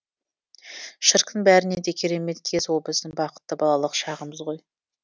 шіркін бәрінен де керемет кез ол біздің бақытты балалық шағымыз ғой